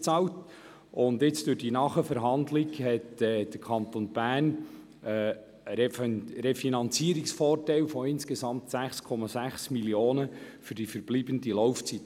Durch die Nachverhandlungen erhält der Kanton einen Refinanzierungsvorteil von insgesamt 6,6 Mio. Franken für die verbleibende Laufzeit.